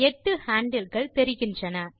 எட்டு ஹேண்டில் கள் தெரிகின்றன